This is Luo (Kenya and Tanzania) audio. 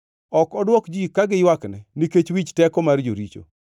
Ok odwok ji ka giywakne nikech wich teko mar joricho.